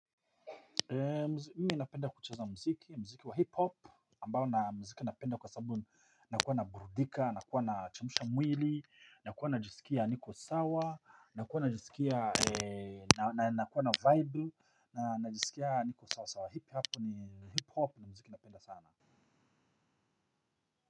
Mimi napenda kucheza mziki, mziki wa hiphop ambao na mziki napenda kwa sabu nakuwa naburudika, nakuwa nachemsha mwili, nakuwa najisikia niko sawa, nakuwa najisikia na nakuwa na vibe, nakuwa najisikia niko sawa, hiphop ni hiphop na mziki napenda sana.